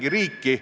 On nii?